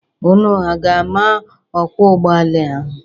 Unu aga-ama ọkwọ ụgbọala ahụ?